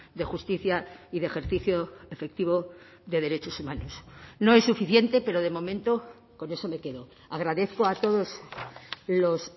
de justicia y de ejercicio efectivo de derechos humanos no es suficiente pero de momento con eso me quedo agradezco a todos los